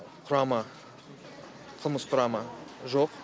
құрамы қылмыс құрамы жоқ